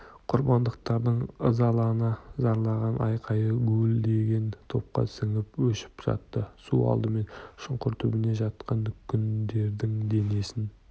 құрбандықтардың ызалана зарлаған айқайы гуілдеген топқа сіңіп өшіп жатты су алдымен шұңқыр түбінде жатқан күңдердің денесін